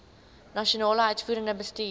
nasionale uitvoerende bestuur